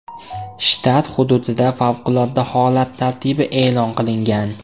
Shtat hududida favqulodda holat tartibi e’lon qilingan.